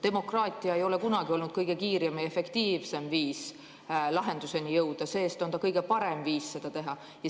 Demokraatia ei ole kunagi olnud kõige kiirem ja efektiivsem viis lahenduseni jõuda, see-eest on see kõige parem viis seda teha.